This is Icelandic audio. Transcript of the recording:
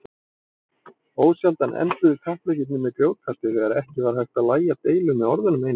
Ósjaldan enduðu kappleikirnir með grjótkasti þegar ekki var hægt að lægja deilur með orðunum einum.